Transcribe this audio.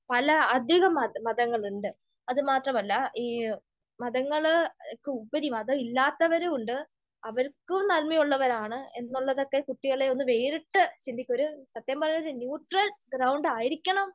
പല അധികം മത മതങ്ങളുണ്ട്. അതുമാത്രമല്ല, ഈ മതങ്ങൾക്കുപരി മതം ഇല്ലാത്തവരുമുണ്ട്. അവരും നന്മയുള്ളവരാണ് എന്നുള്ളതൊക്കെ കുട്ടികളെ ഒന്ന് വേറിട്ട്, ഒരു സത്യം പറഞ്ഞാൽ ഒരു ന്യുട്രൽ ഗ്രൗണ്ട് ആയിരിക്കണം